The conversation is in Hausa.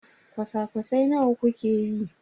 kwasa-kwasai nawa kuke yi?